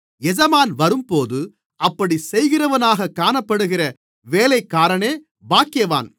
எஜமான் வரும்போது அப்படிச் செய்கிறவனாகக் காணப்படுகிற வேலைக்காரனே பாக்கியவான்